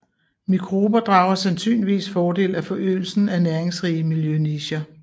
Mikrober drager sandsynligvis fordel af forøgelsen af næringsrige miljønicher